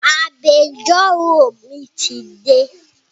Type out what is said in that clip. Agbẹjọ́rò mi ti dé